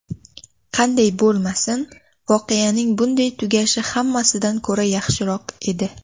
Qanday bo‘lmasin, voqeaning bunday tugashi hammasidan ko‘ra yaxshiroq edi.